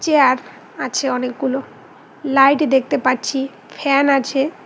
Chair আছে অনেকগুলো light দেখতে পাচ্ছি ফ্যান আছে।